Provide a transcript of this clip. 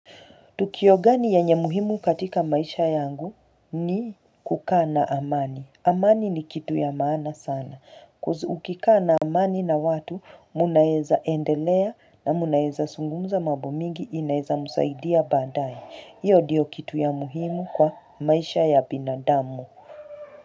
Tukio gani yenye muhimu katika maisha yangu ni kukaa na amani. Amani ni kitu ya maana sana. Coz ukikaa na amani na watu, mnaeza endelea na mnaeza zungumza mambo mingi inaweza msaidia baadae. Iyo ndiyo kitu ya muhimu kwa maisha ya binadamu.